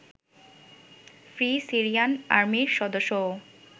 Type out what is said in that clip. free Syrian আর্মির সদস্যও